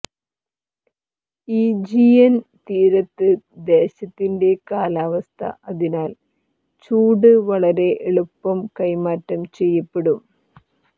Aegean തീരത്ത് ദേശത്തിന്റെ കാലാവസ്ഥാ അതിനാൽ ചൂട് വളരെ എളുപ്പം കൈമാറ്റം ചെയ്യപ്പെടും